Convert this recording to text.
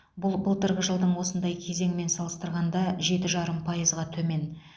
бұл былтырғы жылдың осындай кезеңімен салыстырғанда жеті жарым пайызға төмен